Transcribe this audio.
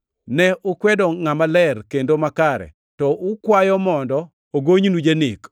Ne ukwedo Ngʼama Ler kendo makare, to ukwayo mondo ogonynu janek.